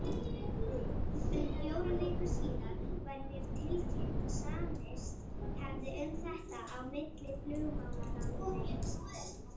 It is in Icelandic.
Um fjórum vikum síðar var mér tilkynnt, að samist hefði um þetta á milli flugmálaráðuneytisins